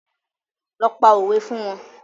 Lọ pa òwe fún wọn